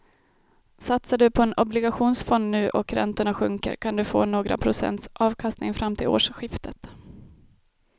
Satsar du på en obligationsfond nu och räntorna sjunker kan du få några procents avkastning fram till årsskiftet.